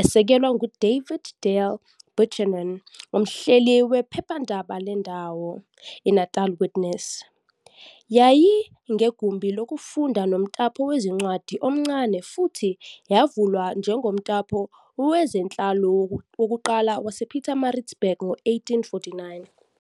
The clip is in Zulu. esekelwa nguDavid Dale Buchanan, umhleli wephephandaba lendawo, i-Natal Witness. Yayinegumbi lokufunda nomtapo wezincwadi omncane futhi yavulwa njengomtapo wezenhlalo wokuqala wasePietermaritzburg ngo-1849.